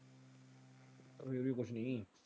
ਇਹ ਵੀ ਕੁੱਛ ਨਹੀਂ।